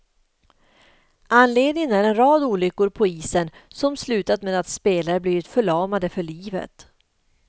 Anledningen är en rad olyckor på isen som slutat med att spelare blivit förlamade för livet.